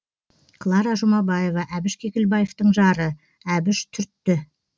клара жұмабаева әбіш кекілбаевтың жары әбіш түртті